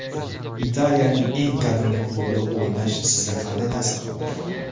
Italiyaning eng qadimgi klubida o‘ynash sizga qanday ta’sir qildi?